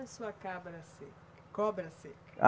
E a sua cabra seca? Cobra seca? Ah